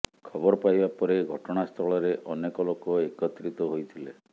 ଖବର ପାଇବା ପରେ ଘଟଣାସ୍ଥଳରେ ଅନେକ ଲୋକ ଏକତ୍ରିତ ହୋଇଥିଲେ